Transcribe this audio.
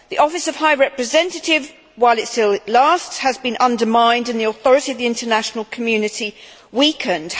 The office of High Representative, while it still lasts, has been undermined and the authority of the international community weakened.